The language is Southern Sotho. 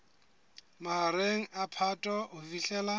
mahareng a phato ho fihlela